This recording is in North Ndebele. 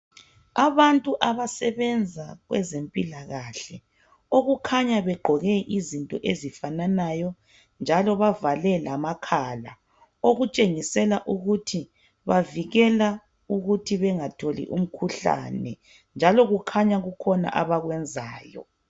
Abantu abasebenza kwezempilakahle, okukhanya begqoke izinto ezifananayo njalo bavale lamakhala .Okutshengisela ukuthi bavikela ukuthi bengatholi umkhuhlane. Njalo kukhanya kukhona abakwenzayo .